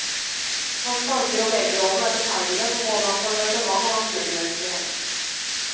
Hans tanker om legerollen er betegnende for både hans engasjement og hans medmenneskelighet.